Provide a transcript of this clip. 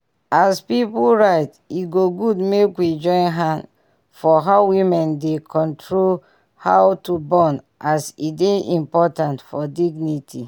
as pipu right e go good make we join hand for how women dey control how to born as e dy important for dignity